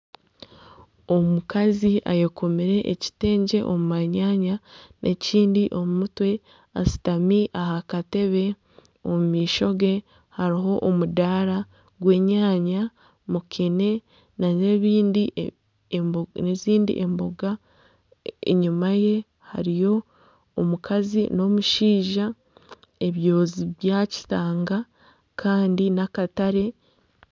Omukazi ayekomire ekitengye omu manyanya ekindi omu mutwe ashutami aha Katebe omumaisho ge hariho omudaara gw'enyanya ,mukene nana ezindi emboga , enyuma ye hariyo omukazi n'omushaija ebyoozi bya kitanga Kandi nana akatare